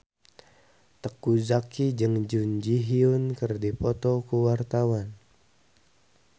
Teuku Zacky jeung Jun Ji Hyun keur dipoto ku wartawan